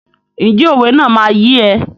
Ǹjẹ́ òwe náà máa yé ẹ?